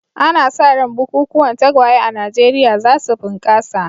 Ana sa ran bukukuwan tagwaye a Najeriya za su bunƙasa.